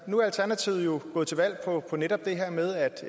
nu er alternativet jo gået til valg på netop det her med